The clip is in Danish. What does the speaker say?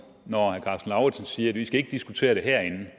siger at vi ikke skal diskutere det herinde